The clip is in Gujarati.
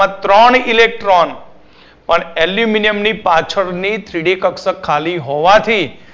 માં ત્રણ Electron પણ aluminium ની પાછળની Three D કક્ષક ખાલી હોવાથી